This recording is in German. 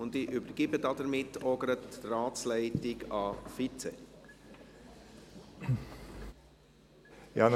Damit übergebe ich auch gleich die Ratsleitung an den Vizepräsidenten.